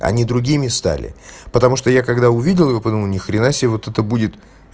они другими стали потому что я когда увидел его подумал ни хрена себе вот это будет